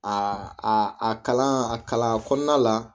A a a kalan a kalan kɔnɔna la